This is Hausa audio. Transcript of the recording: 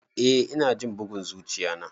Eh ina jin bugun zuchiya na.